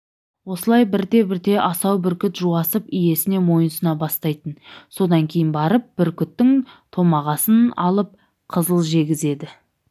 осылай бірте-бірте асау бүркіт жуасып иесіне мойынсұна бастайтын содан кейін барып бүркіттің томағасын алып қызыл жегізеді